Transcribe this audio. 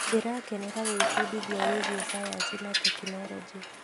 Ndĩrakenera gwĩbundithia wĩgiĩ cayanci na tekinoronjĩ.